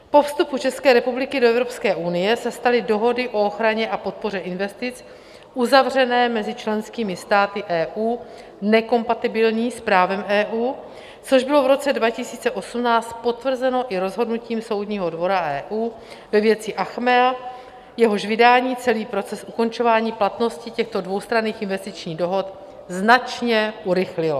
Po vstupu České republiky do Evropské unie se staly dohody o ochraně a podpoře investic uzavřené mezi členskými státy EU nekompatibilní s právem EU, což bylo v roce 2018 potvrzeno i rozhodnutím Soudního dvora EU ve věci Achmea, jehož vydání celý proces ukončování platnosti těchto dvoustranných investičních dohod značně urychlilo.